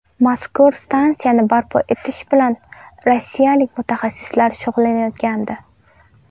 Mazkur stansiyani barpo etish bilan rossiyalik mutaxassislar shug‘ullanayotgandi.